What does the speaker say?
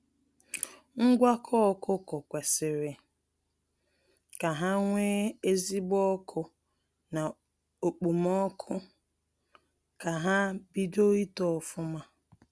Ngwakọ ọkụkọ kwesịrị ka ha nwee ezigbo ọkụ na okpomọkụ ka ha bido ito ofụma.